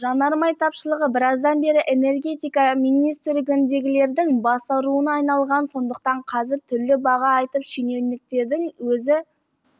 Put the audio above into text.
жанармай тапшылығы біраздан бері энергетика министрігіндегілердің бас ауруына айналған сондықтан қазір түрлі баға айтып шенеуніктердің өзі